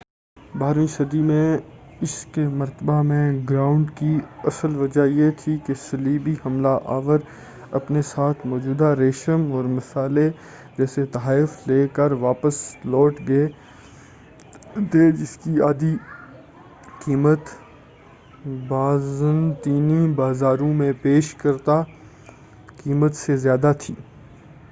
بارہویں صدی میں اس کے مرتبہ میں گراوٹ کی اصل وجہ یہ تھی کہ صلیبی حملہ آور اپنے ساتھ موجود ریشم اور مسالے جیسے تحائف لے کر واپس لوٹ گئے تھے جس کی قیمت بازنطینی بازاروں میں پیش کردہ قیمت سے زیادہ تھی